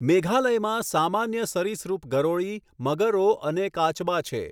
મેઘાલયમાં સામાન્ય સરીસૃપ ગરોળી, મગરો અને કાચબા છે.